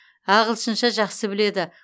ағылшынша жақсы біледі